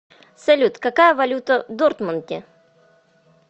салют какая валюта в дортмунде